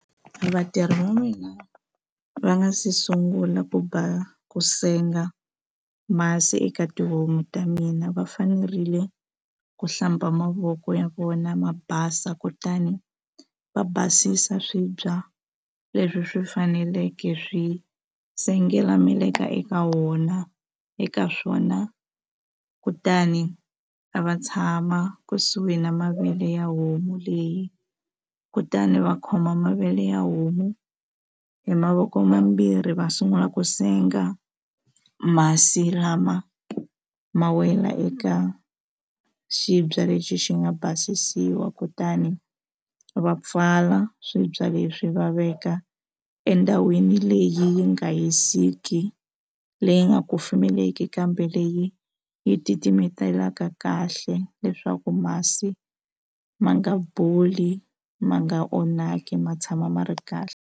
Vatirhi va mina va nga se sungula ku ba ku senga masi eka tihomu ta mina va fanerile ku hlamba mavoko ya vona ma basa kutani va basisa swibya leswi swi faneleke swi sengela meleka eka wona eka swona kutani a va tshama kusuhi na mavele ya homu leyi kutani va khoma mavele ya homu hi mavoko mambirhi va sungula ku senga masi lama ma wela eka xibye lexi xi nga basisiwa kutani va pfala swibya leswi va veka endhawini leyi yi nga hisiki hi leyi nga kufumeleki kambe leyi yi titimetelaka kahle leswaku masi ma nga boli ma nga onhaki ma tshama ma ri kahle.